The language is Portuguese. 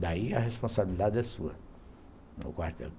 Daí a responsabilidade é sua no quartel.